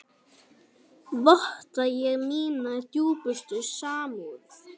Votta ég mína dýpstu samúð.